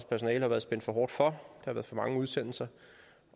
personale har været spændt for hårdt for at der for mange udsendelser